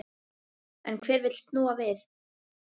En hver vill snúa við?